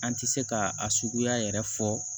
An tɛ se ka a suguya yɛrɛ fɔ